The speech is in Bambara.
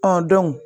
Ɔ